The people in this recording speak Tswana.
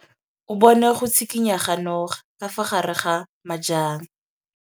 O bone go tshikinya ga noga ka fa gare ga majang.